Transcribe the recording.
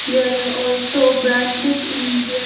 There are also branches in their --